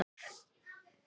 Vildi makker kannski LAUF?